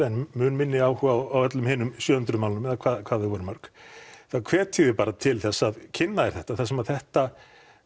en mun minni áhuga á öllum hinum sjö hundruð málunum eða hvað þau voru mörg þá hvet ég þig bara til þess að kynna þér þetta þar sem að þetta